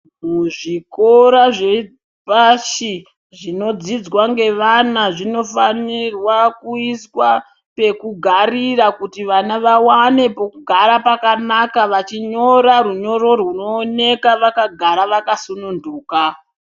Muzvikora zvepashi zvinodzidzwa ngewana, zvinofanirwa kuiswa pekugarira kuti vana wawane pokugara pakanaka vachinyora unyoro rwuno oneka wakagara wakasununduka.